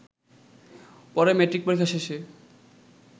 পরে ম্যাট্রিক পরীক্ষা শেষে